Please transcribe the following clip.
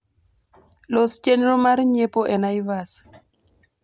los chenro mar nyiepo e naivas